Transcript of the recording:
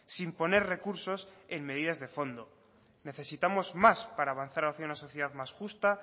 sin poner recursos en medidas de fondo necesitamos más para avanzar hacia una sociedad más justa